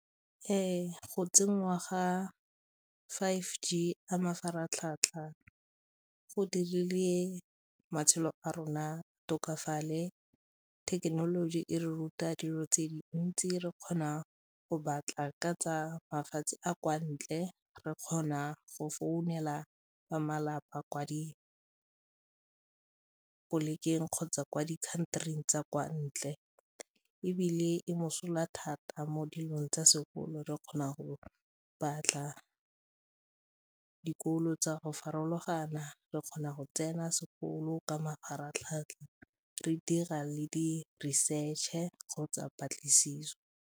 Ee, go tsenngwa ga five G a mafaratlhatlha go dirile matshelo a rona tokafale, thekenoloji e re ruta dilo tse dintsi re kgona go batla ka tsa mafatshe a kwa ntle, re kgona go founela ba malapa kwa di polekeng kgotsa kwa di-country-ing tsa kwa ntle ebile e mosola thata mo dilong tsa sekolo re kgona go batla dikolo tsa go farologana, re kgona go tsena sekolo ka mafaratlhatlha re dira le di-research-e kgotsa patlisiso.